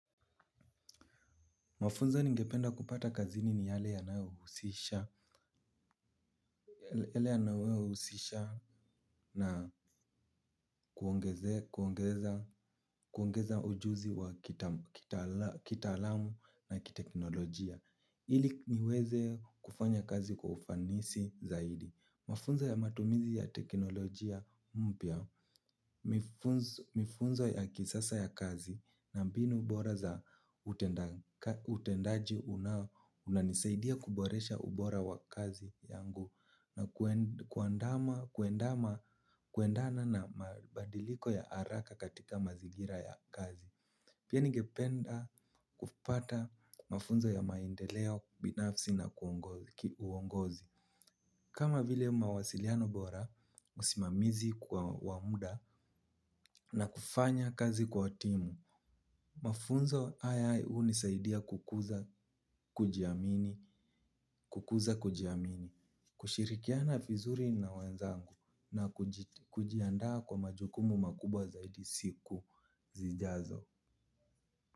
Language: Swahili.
Mafunzo ni ngependa kupata kazini ni yale ya nayohusisha husisha na kuongeza ujuzi wa kita alamu na kiteknolojia. Ili niweze kufanya kazi kwa ufanisi zaidi. Mafunzo ya matumizi ya teknolojia mpya, mifunzo ya kisasa ya kazi na mbinu bora za utendaji unanisaidia kuboresha ubora wa kazi yangu na kuendana na mabadiliko ya haraka katika mazingira ya kazi. Pia ningependa kupata mafunzo ya maendeleo, binafsi na uongozi. Kama vile mawasiliano bora, usimamizi kwa wamda na kufanya kazi kwa timu. Mafunzo haya hunisaidia kukuza kujiamini, kukuza kujiamini, kushirikiana vizuri na wenzangu na kujiandaa kwa majukumu makubwa zaidi siku zijazo.